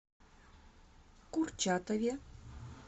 курчатове